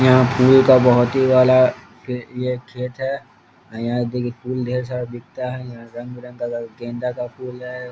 यहां फुल का बहोत ही वाला फि ये खेत है आ यहां देखिये फुल ढ़ेर सारा बिकता है यहां रंग-बिरंग कलर गेंदा का फुल है।